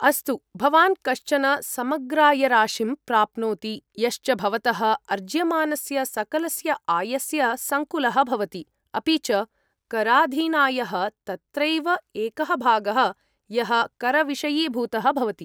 अस्तु, भवान् कश्चन समग्रायराशिं प्राप्नोति यश्च भवतः अर्ज्यमानस्य सकलस्य आयस्य सङ्कुलः भवति, अपि च कराधीनायः तत्रैव एकः भागः यः करविषयीभूतः भवति।